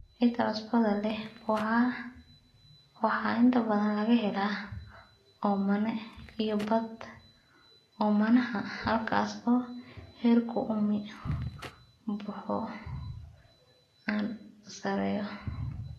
Ciida cusbada leh waxaa inta badan laga helaa oomane iyo badh-oomanaha halkaas oo heerka uumi-baxu aad u sarreeyo.